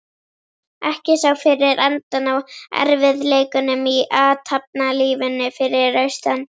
Ekki sá fyrir endann á erfiðleikunum í athafnalífinu fyrir austan.